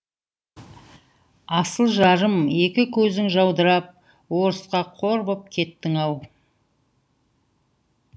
асыл жарым екі көзің жаудырап орысқа қор боп кеттің ау